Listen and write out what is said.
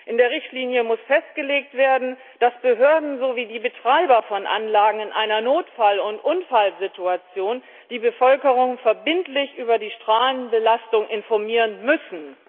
In der Richtlinie muss festgelegt werden, dass die Behörden sowie die Betreiber einer Anlage in einer Notfall und Unfallsituation die Bevölkerung verbindlich über die Strahlenbelastung informieren müssen.